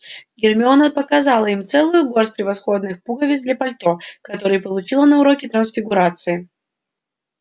гермиона показала им целую горсть превосходных пуговиц для пальто которые получила на уроке трансфигурации